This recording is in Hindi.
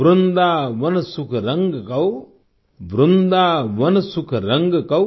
वृंदावन सुख रंग कौ वृंदावन सुख रंग कौ